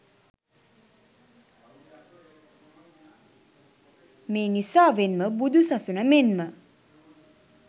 මේ නිසාවෙන් ම බුදු සසුන මෙන්ම